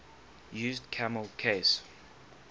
used camel case